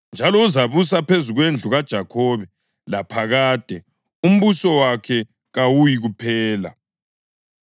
njalo uzabusa phezu kwendlu kaJakhobe laphakade; umbuso wakhe kawuyikuphela.”